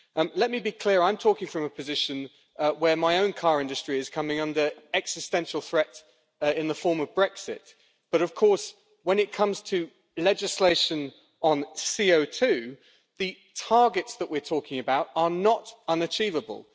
Let me be clear, I am talking from a position where my own car industry is coming under existential threat in the form of Brexit, but of course when it comes to legislation on CO2 the targets that we are talking about are not unachievable.